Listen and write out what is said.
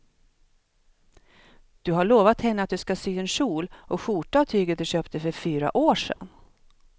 Du har lovat henne att du ska sy en kjol och skjorta av tyget du köpte för fyra år sedan.